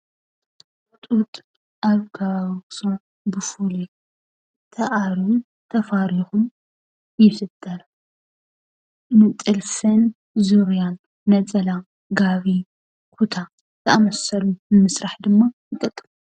ጡጥ ኣብ ከባቢ ኣክሱም ብፍሉይ ተኣርዩን ተፋሪኩን ይስጠጥ። ንጥልፍን፣ ዙርያን፣ ነፀላን ፥ ጋቢ ፥ኩታን ዝኣመሰሉ ንምስራሕ ድማ ይጠቅም።